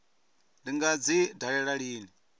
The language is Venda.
ndi nga dzi dalela lini